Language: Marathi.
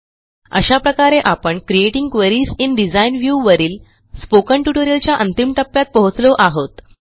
अशा प्रकारे आपण creating queries in design view वरील स्पोकन ट्युटोरिलच्या अंतिम टप्प्यात पोहोचलो आहोत